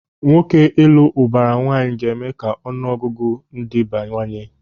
Nwoke ịlụ ụbara nwaanyị ga-eme ka ọnụ ọgụgụ ndị bawanye.